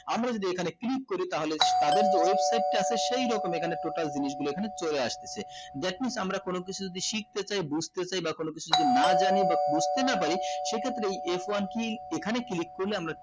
আমরা যদি এখানে click করি তাহলে তাদের যে website তা আছে সেই রকম এখানে total জিনিস গুলো এখানে চলে আসতেছে that means আমরা কোনো কিছু যদি শিখতে চাই বুজতে চাই বা কোনোকিছু যদি না জানি বা বুজতে না পারি এই ক্ষেত্রে এই f one key এখানে click করলে আমরা